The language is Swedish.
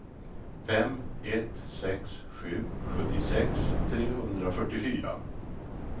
fem ett sex sju sjuttiosex trehundrafyrtiofyra